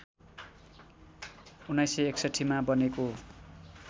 १९६१ मा बनेको